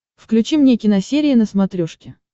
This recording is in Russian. включи мне киносерия на смотрешке